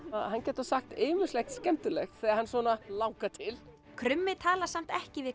hann getur sagt ýmislegt skemmtilegt þegar hann langar til krummi talar samt ekki við